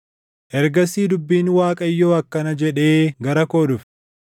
Ergasii dubbiin Waaqayyoo akkana jedhee gara koo dhufe: